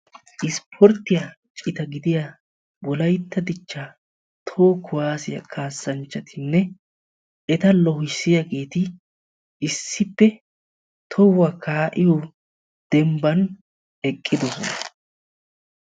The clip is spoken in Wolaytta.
Isspporttiya citaa wolaytta dichcha citaa toho kuwasiya kaa'iyagettinne etta loohissiyagetti issippe eqqiddosonna.